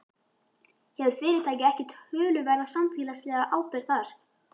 Hefur fyrirtækið ekki töluverða samfélagslega ábyrgð þar?